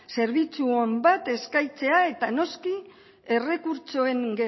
zerbitzu on bat eskaintzea eta noski errekurtsoen